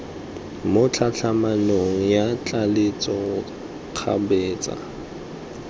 mo tlhatlhamanong ya tlaleletso kgabetsa